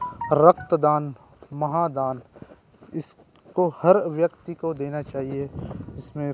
रक्तदान महादान इसको हर व्यक्ति को देना चाहिए इसमें--